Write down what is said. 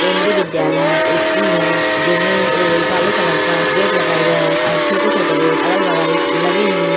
केन्द्रीय विद्यालय स्कूल है जिस में काले कलर का गेट लगा हुआ है और छोटे-छोटे गेट अगल-बगल लगे हुए हैं।